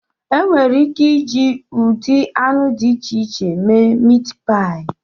Enwere ike iji ụdị anụ dị iche iche méé míítpááyì